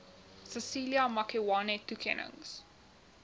cecilia makiwane toekennings